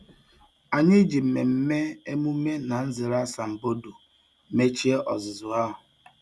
Anyị ji mmemme emume na nzere asambodo mechie ọzụzụ ahụ.